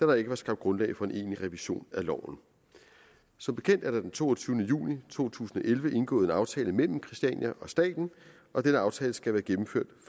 der ikke var skabt grundlag for en egentlig revision af loven som bekendt er der den toogtyvende juni to tusind og elleve indgået en aftale mellem christiania og staten og denne aftale skal være gennemført